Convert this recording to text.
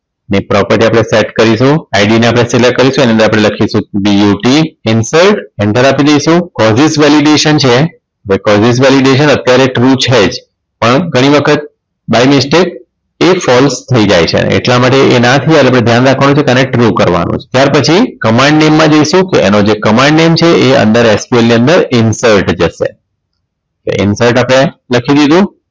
એ false થઈ જાય છે અને એટલા માટે એ ના થઈ જાય એના માટે ધ્યાન રાખવાનું છે આને true કરવાનું છે ત્યાર પછી command name માં જઈશું કે એનો જે comand name છે એ અંદર ASP ની અંદર insert જશે insert આપણે લખી દીધું